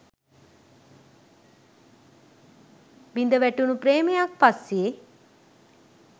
බිඳවැටුණු ප්‍රේමයක් පස්සේ